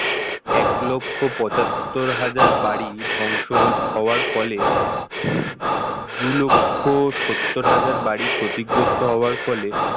এক লক্ষ পঁচাত্তর হাজার বাড়ি ধ্বংস হওয়ার ফলে দু লক্ষ হাজার বাড়ি ক্ষতিগ্রস্ত হবার ফলে